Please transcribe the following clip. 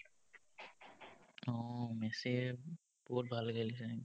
অ, মেচীৰ বহুত ভাল লাগিল কিন্তু